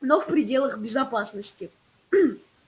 но в пределах безопасности